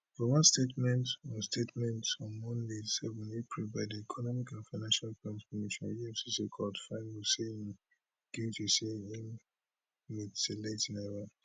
for one statement on statement on monday seven april by di economic and financial crimes commission efcc court find huseini guilty say im mutilate naira